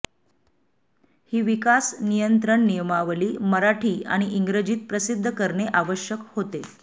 ही विकास नियंत्रण नियमावली मराठी आणि इंग्रजीत प्रसिद्ध करणे आवश्यक होते